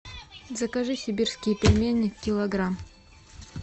закажи сибирские пельмени килограмм